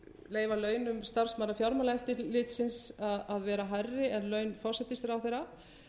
leyfa launum starfsmanna fjármálaeftirlitsins að vera hærri en laun forsætisráðherra